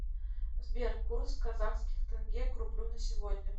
сбер курс казахских тенге к рублю на сегодня